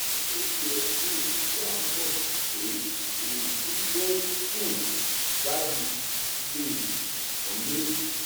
ó yẹ um kí a mọ pé ẹfín tó um jáde lè kọlé